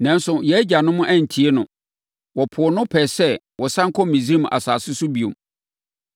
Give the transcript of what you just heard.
“Nanso, yɛn agyanom antie no. Wɔpoo no pɛɛ sɛ wɔsane kɔ Misraim asase so bio.